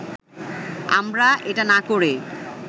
আমরা এটা না করে